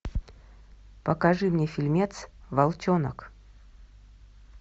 покажи мне фильмец волчонок